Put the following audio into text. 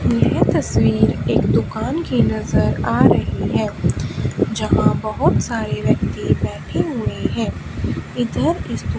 यह तस्वीर एक दुकान की नजर आ रही है जहां बहोत सारे व्यक्ति बैठे हुए हैं इधर इस --